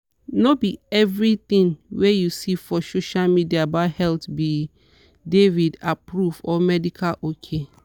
no be everything wey you see for social media about health be david-approved or medical ok.